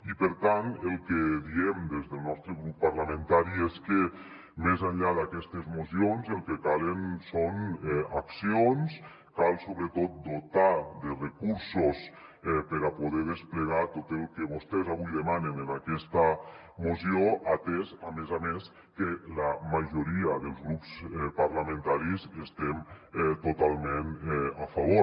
i per tant el que diem des del nostre grup parlamentari és que més enllà d’aquestes mocions el que calen són accions cal sobretot dotar de recursos per a poder desplegar tot el que vostès avui demanen en aquesta moció atès a més a més que la majoria dels grups parlamentaris hi estem totalment a favor